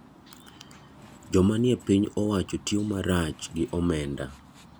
Joma nie piny owacho tiyo marach gi omenda.